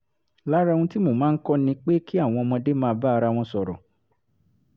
lára ohun tí mo máa ń kọ́ ni pé kí àwọn ọmọdé máa bá ara wọn sọ̀rọ̀